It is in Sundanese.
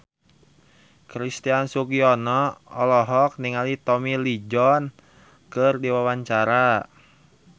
Christian Sugiono olohok ningali Tommy Lee Jones keur diwawancara